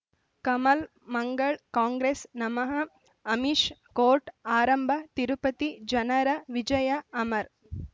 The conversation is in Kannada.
ಕಮಲ್ ಮಂಗಳ್ ಕಾಂಗ್ರೆಸ್ ನಮಃ ಅಮಿಷ್ ಕೋರ್ಟ್ ಆರಂಭ ತಿರುಪತಿ ಜನರ ವಿಜಯ ಅಮರ್